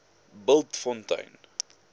bultfontein